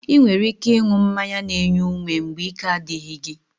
Ị nwere ike ịṅụ mmanya n'enye ume mgbe ike a dịghị gị